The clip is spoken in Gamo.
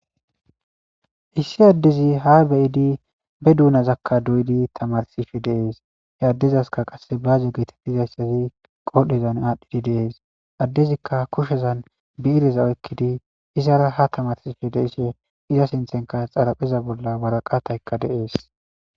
Issi addezi ha beyidi be duunazakka doyidi tamarsishe deees he addezaska qasse baaze geetettizayssazi qolhdhezan aadhdhidi deees addezikka kushezan biireza oykkidi izara ha tamarsishe de ishe iza sinthenka xarapheza bolla waraqataykka deees.